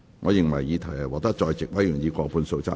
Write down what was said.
我認為議題獲得在席委員以過半數贊成。